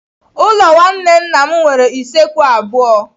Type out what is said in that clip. Ụlọ nwanne nna m nwere usekwu abụọ.